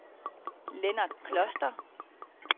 Lennart Kloster